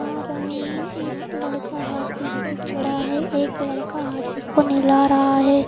आ रहे हैं एक लड़का हाथी पे चड़ा है एक लड़का हाथी को न्हिला रहा है।